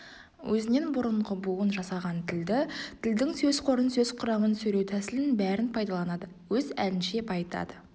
өзінен бұрынғы буын жасаған тілді тілдің сөз қорын сөз құрамын сөйлеу тәсілін бәрін пайдаланады өз әлінше байытады